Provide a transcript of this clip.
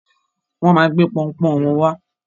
Wọn máa gbé pọunpọ́ún wọn wá.